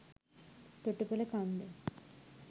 තොටුපොල කන්ද